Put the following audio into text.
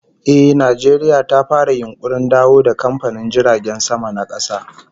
Eh, Najeriya ta fara yunkurin dawo da kamfanin jiragen sama na kasa